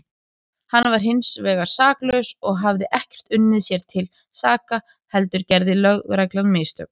Hann var hinsvegar saklaus og hafði ekkert unnið sér til saka heldur gerði lögreglan mistök.